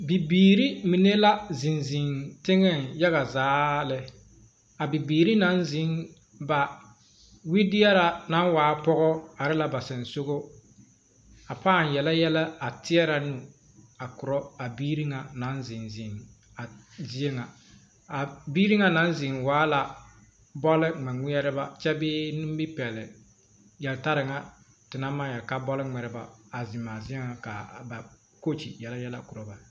Bibiiri mine la ziŋ ziŋ teŋɛŋ yaga zaa lɛ a bibiiri naŋ ziŋ ba wedeɛrɛ naŋ waa pɔgɔ are la ba soŋsogɔŋ a paa yele yɛlɛ a teɛnɛ nu korɔ a biiri ŋa naŋ ziŋ ziŋ a zie ŋa a biiri ŋa naŋ ziŋ waa la bɔle ŋmɛŋmeɛrebɛ kyebee nimipɛle yeltareŋa te naŋ maŋ yele ka bɔl ŋmeɛrebɛ a ziŋ a zie ŋa ka ba coach yele yɛlɛ kora ba